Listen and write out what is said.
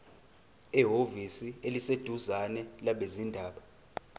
ehhovisi eliseduzane labezindaba